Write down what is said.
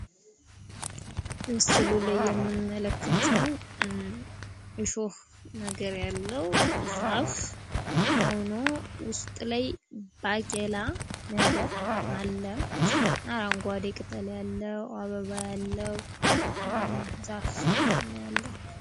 ምስሉ ላይ የምንመለከተው እሾህ ነገር ያለው ዛፍ ሆኖ ውስጥ ላይ ባቄላ ነገር አለ። አረንጓዴ ቅጠል ያለው፣ አበባ ያለው ዛፍ ነው ያለው።